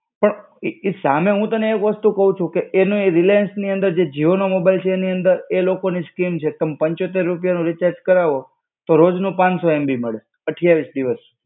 તો ઇ ઇ સામે હું તને એક વસ્તુ કેવ છુ કે એને એજ રિલાયન્સની અંદર જે જીઓનો મોબાઈલ છે એની અંદર એ લોકોની સ્કીમ છે, તમ પંચોતેર રૂપિયાનું રિચાર્જ કરવો તો રોજનું પાંચ સો MB મળે અઠ્યાવીસ દિવસ.